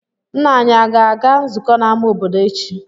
Nna anyị aga-aga nzukọ n'amá obodo echi?